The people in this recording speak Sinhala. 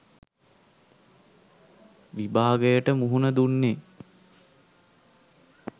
විභාගයට මුහුණ දුන්නේ.